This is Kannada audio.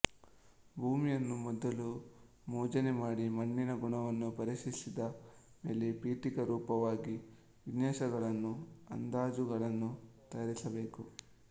ಭೂಮಿಯನ್ನು ಮೊದಲು ಮೋಜಣಿ ಮಾಡಿ ಮಣ್ಣಿನ ಗುಣವನ್ನು ಪರೀಕ್ಷಿಸಿದ ಮೇಲೆ ಪೀಠಿಕಾ ರೂಪವಾಗಿ ವಿನ್ಯಾಸಗಳನ್ನೂ ಅಂದಾಜುಗಳನ್ನು ತಯಾರಿಸಬೇಕು